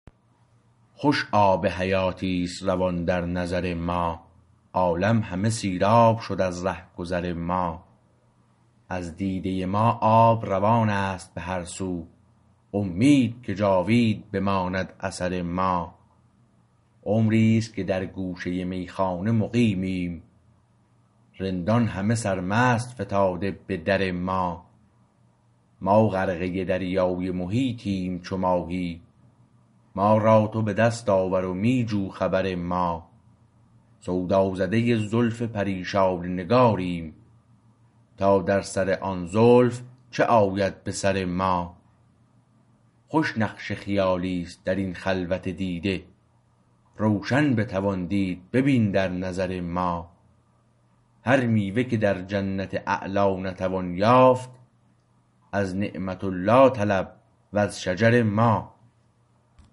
خوش آب حیاتی است روان در نظر ما عالم همه سیراب شد از رهگذر ما از دیده ما آب روانست به هر سو امید که جاوید بماند اثر ما عمریست که در گوشه میخانه مقیمیم رندان همه سرمست فتاده به درما ما غرقه دریای محیطیم چو ماهی ما را تو به دست آور و می جو خبر ما سودا زده زلف پریشان نگاریم تا در سر آن زلف چه آید به سر ما خوش نقش خیالیست در این خلوت دیده روشن بتوان دید ببین در نظر ما هر میوه که در جنت اعلی نتوان یافت از نعمت الله طلب و ز شجر ما